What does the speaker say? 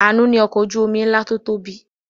Àánú ní ọkọ̀ ojú-omi ńlá tó tóbi.